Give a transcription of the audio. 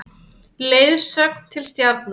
Leiðsögn til stjarnanna.